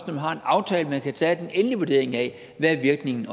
man har en aftale at man kan tage den endelige vurdering af hvad virkningen